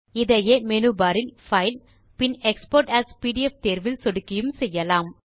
இதையே menu bar இல் file பின் எக்ஸ்போர்ட் ஏஎஸ் பிடிஎஃப் தேர்வில் சொடுக்கியும் செய்யலாம்